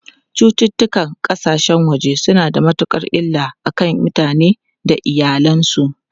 Cututtukan kasashen waje suna da matukar illa a kan mutane da iyalansu.